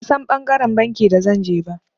Ban San ɓangaren banki da zan je ba.